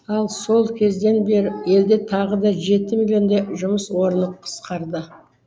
ал сол кезден бері елде тағы да жеті миллиондай жұмыс орны қысқарды